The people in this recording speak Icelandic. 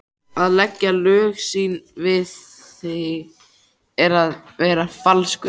Að leggja lög sín við þig er að vera falskur.